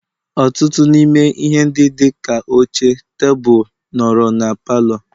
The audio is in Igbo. Ọtụtụ n'ime ihe ndị dị ka oche, tebụl, nọrọ na palọ